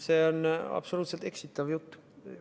See on absoluutselt eksitav jutt.